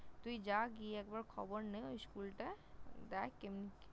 তুই যা, গিয়ে একবার খবর নে ওই School টায় । দেখ এমনি ।